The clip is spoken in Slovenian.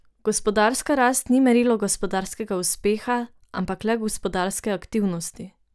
Gospodarska rast ni merilo gospodarskega uspeha, ampak le gospodarske aktivnosti.